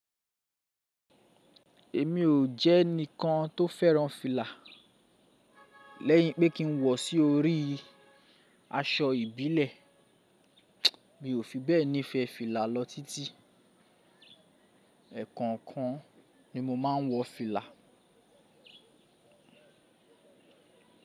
Èmi ò jẹ́ ẹni kan tó fẹ́ràn fìlà. Lẹ́yìn pé kí n wọ̀ sí orí aṣọ ìbílẹ̀, mi ò fi bẹ́ẹ̀ nífẹ̀ẹ́ fìlà lọ títí. Ẹ̀ẹ̀kọ̀kan ni mo máa ń wọ fìlà.